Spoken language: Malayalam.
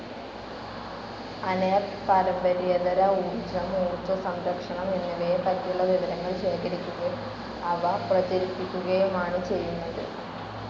അനേർട്ട് പാരമ്പര്യേതര ഊർജ്ജം, ഊർജ്ജസംരക്ഷണം എന്നിവയെ പറ്റിയുളള വിവരങ്ങൾ ശേഖരിക്കുകയും അവ പ്രചരിപ്പിക്കുകയുമാണ് ചെയ്യുന്നത്.